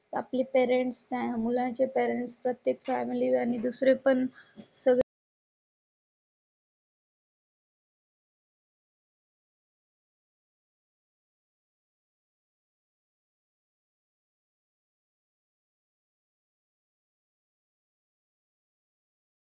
आपली पेरेन्ट्स त्या मुलांचे पॅरेन्ट प्रत्येक फॅमिली आणि दुसरे पण सगळं.